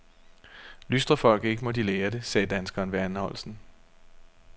Lystrer folk ikke, må de lære det, sagde danskeren ved anholdelsen.